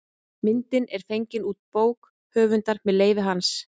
Myndin er fengin út bók höfundar með leyfi hans.